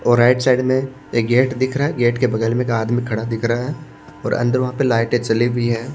और right side में एक गेट दिख रहा है गेट के बगल में एक आदमी खड़ा दिख रहा है और अंदर वहां पे लाइटें जली हुई है।